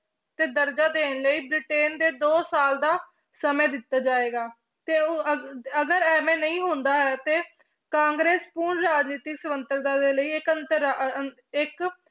ਤੇ ਦਰਜ਼ੇ ਦੇਣ ਲਈ ਬ੍ਰਿਟੇਨ ਦੇ ਦੋ ਸਾਲ ਦਾ ਸਮਾਂ ਦਿੱਤਾ ਜਾਏਗਾ, ਤੇ ਉਹ ਅ~ ਅਗਰ ਇਵੇਂ ਨਹੀਂ ਹੁੰਦਾ ਹੈ ਤੇ ਕਾਂਗਰਸ ਪੂਰਨ ਰਾਜਨੀਤਿਕ ਸੁਤੰਤਰਤਾ ਦੇ ਲਈ ਇੱਕ